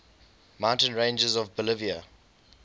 mountain ranges of bolivia